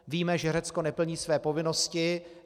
Víme, že Řecko neplní své povinnosti.